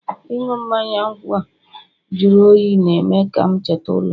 ịṅụ mmanya nkwụ a jụrụ oyi na-eme ka m cheta ụlọ